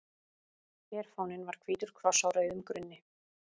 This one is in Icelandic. Herfáninn var hvítur kross á rauðum grunni.